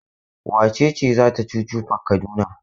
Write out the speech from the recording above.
Wace ce za ta chuchu park Kaduna?